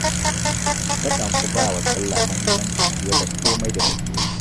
Takan fi ba wa sallah muhimmanci fiye da komai da take yi